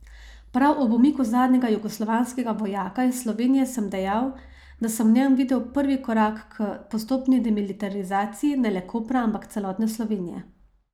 Prav ob umiku zadnjega jugoslovanskega vojaka iz Slovenije sem dejal, da sem v njem videl prvi korak k postopni demilitarizaciji ne le Kopra, ampak celotne Slovenije.